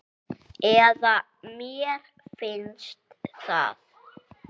Eða mér finnst það.